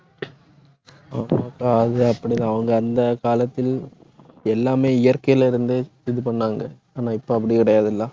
ஆமா அக்கா அது அப்படிதான். அவங்க அந்த காலத்தில், எல்லாமே இயற்கையில இருந்தே இது பண்ணாங்க. ஆனா, இப்ப அப்படி கிடையாதுல்ல